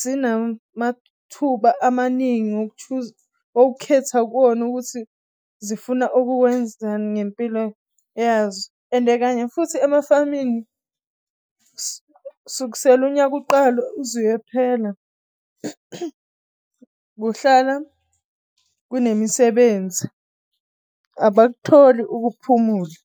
zinamathuba amaningi okhetha kuwona ukuthi zifuna ukuwenzani ngempilo yazo. Ende kanye futhi emafamini. sek'sele unyaka uqalwe uze uyophela kuhlala kunemisibenzi abakutholi ukuphumula.